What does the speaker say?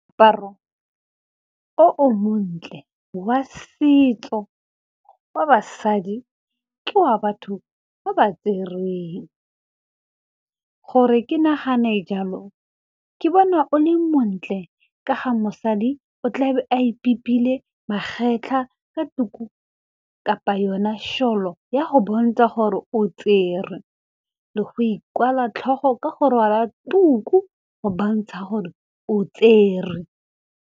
Paro o o montle wa setso wa basadi ke wa batho ba ba tserweng, gore ke nagane jalo ke bona o le montle ka ga mosadi o tlabe a ibipile magetlha ka tuku kapa yona sholo ya go bontsha gore o tserwe le go ikwala tlhogo ka go rwala tuku go bontsha gore o tserwe.